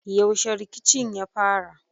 Yaushe rikicin ya fara?